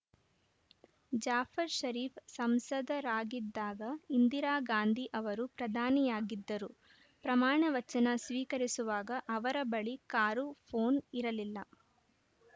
ಜಾಫರ್‌ಷರೀಫ್‌ ಸಂಸದರಾಗಿದ್ದಾಗ ಇಂದಿರಾಗಾಂಧಿ ಅವರು ಪ್ರಧಾನಿಯಾಗಿದ್ದರು ಪ್ರಮಾಣ ವಚನ ಸ್ವೀಕರಿಸುವಾಗ ಅವರ ಬಳಿ ಕಾರು ಪೋನ್‌ ಇರಲಿಲ್ಲ